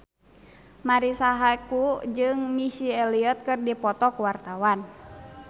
Marisa Haque jeung Missy Elliott keur dipoto ku wartawan